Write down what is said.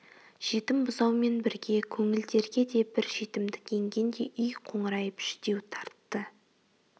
жетім бұзаумен бірге көңілдерге де бір жетімдік енгендей үй қоңырайып жүдеу тартты